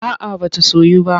A'a ba ta soyu ba.